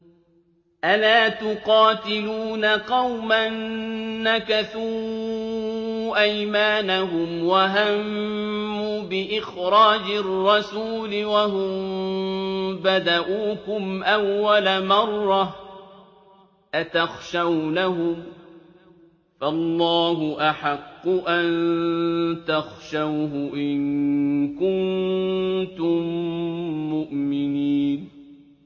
أَلَا تُقَاتِلُونَ قَوْمًا نَّكَثُوا أَيْمَانَهُمْ وَهَمُّوا بِإِخْرَاجِ الرَّسُولِ وَهُم بَدَءُوكُمْ أَوَّلَ مَرَّةٍ ۚ أَتَخْشَوْنَهُمْ ۚ فَاللَّهُ أَحَقُّ أَن تَخْشَوْهُ إِن كُنتُم مُّؤْمِنِينَ